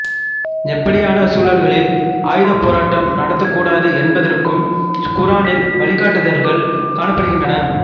எப்படியான சூழல்களில் ஆயுதப்போராட்டம் நடத்தப்படக்கூடாது என்பதற்கும் குரானில் வழிகாட்டுதல்கள் காணப்படுகின்றன